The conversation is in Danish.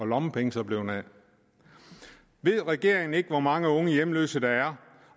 lommepengene blevet af ved regeringen ikke hvor mange unge hjemløse der er